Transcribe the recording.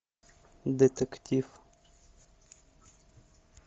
детектив